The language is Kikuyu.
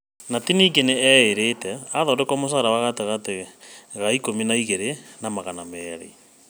Knut ningĩ nĩ eerĩte athondekwo mũcara wa gatagatĩ ka ikũmi na igĩrĩ0 na magana merĩ.